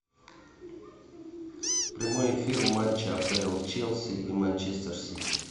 прямой эфир матча апл челси и манчестер сити